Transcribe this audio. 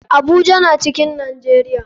Abuja na cikin nijeria.